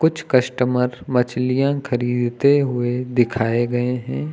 कुछ कस्टमर मछलियां खरीदते हुए दिखाए गए हैं।